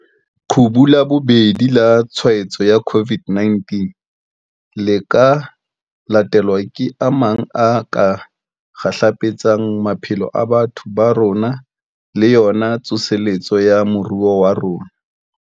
Leqhubu la bobedi la tshwaetso ya COVID-19 le ka latelwa ke a mang a ka kgahlapetsang maphelo a batho ba rona le yona tsoseletso ya moruo wa rona.